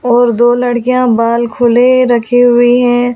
और दो लड़कियां बाल खुले रखी हुई हैं।